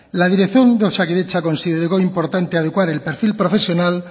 la dirección de osakidetza consideró importante adecuar el perfil profesional